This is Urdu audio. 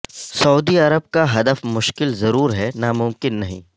سعودی عرب کا ہدف مشکل ضرور ہے ناممکن نہیں